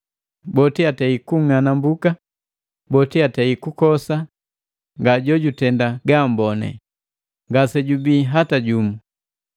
Boti atei kung'anambuka boti atei kukosa nga jojutenda gaamboni, ngasejubii hata jumu.